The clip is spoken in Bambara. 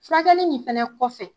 Furakɛli nin fɛnɛ kɔfɛ